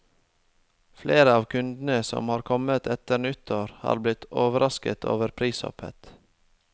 Flere av kundene som har kommet etter nyttår, har blitt overrasket over prishoppet.